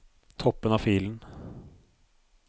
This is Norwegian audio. Toppen av filen